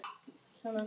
Hún er orðin syfjuð.